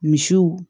Misiw